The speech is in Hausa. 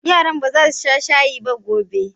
Yarana ba za su sha shayi ba gobe.